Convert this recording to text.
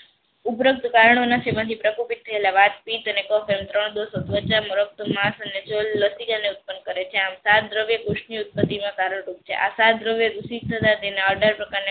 ઉપરાંત કારણના સેમથી માસ અને જલ લસિકા ને ઉત્પન કરે છે. આમ સાત ધ્રાવ્ય પુસ્પ ની ઉત્પતિ માં કરયારૂપ છે. આ સાત ધ્રાવ્ય ઋષિક તેના આધાર પ્રકાર ની